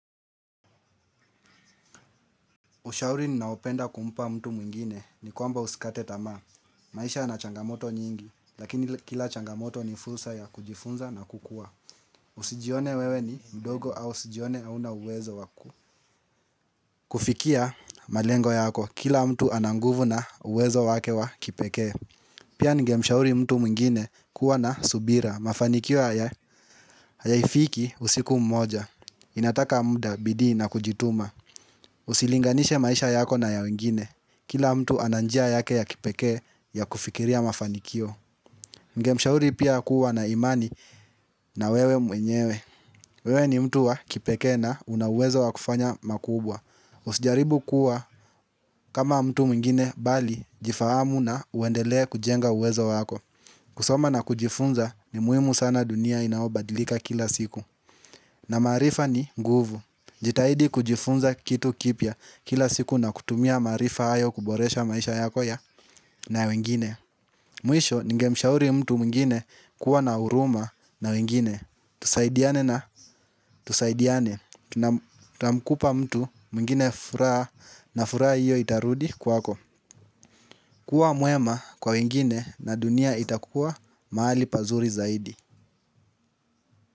Ushauri ninaopenda kumpa mtu mwingine ni kwamba usikate tamaa. Maisha yana changamoto nyingi, lakini kila changamoto ni fursa ya kujifunza na kukua. Usijione wewe ni mdogo au usijione hauna uwezo wa ku. Kufikia malengo yako, kila mtu ana nguvu na uwezo wake wa kipekee. Pia ningemshauri mtu mwingine kuwa na subira. Mafanikio ya, hayaifiki usiku mmoja. Inataka muda, bidii na kujituma. Usilinganishe maisha yako na ya wengine. Kila mtu ana njia yake ya kipekee ya kufikiria mafanikio ningemshauri pia kuwa na imani na wewe mwenyewe. Wewe ni mtu wa kipekee na una uwezo wa kufanya makubwa. Usijaribu kuwa kama mtu mwingine bali jifahamu na uendelee kujenga uwezo wako. Kusoma na kujifunza ni muhimu sana dunia inaobadilika kila siku. Na maarifa ni nguvu. Jitahidi kujifunza kitu kipya kila siku na kutumia maarifa hayo kuboresha maisha yako ya na wengine Mwisho ningemshauri mtu mwingine kuwa na huruma na wengine. Tusaidiane na Tusaidiane. Tuna mkupa mtu mwingine furaha na furaha hiyo itarudi kwako. Kua mwema kwa wengine na dunia itakua mahali pazuri zaidi.